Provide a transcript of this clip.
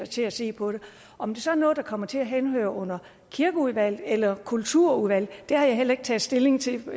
til at se på det om det så er noget der kommer til at henhøre under kirkeudvalget eller kulturudvalget har jeg heller ikke taget stilling til